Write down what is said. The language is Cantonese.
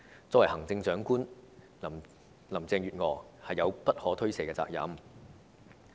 作為行政長官，林鄭月娥是有不可推卸的責任。